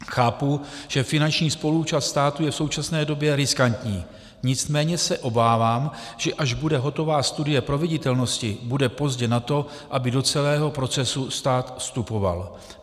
Chápu, že finanční spoluúčast státu je v současné době riskantní, nicméně se obávám, že až bude hotová studie proveditelnosti, bude pozdě na to, aby do celého procesu stát vstupoval.